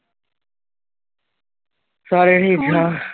ਸਾਰੇ ਠੀਕ ਆ।